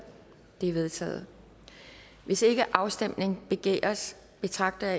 de er vedtaget hvis ikke afstemning begæres betragter